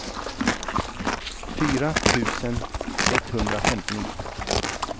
fyra tusen etthundrafemtionio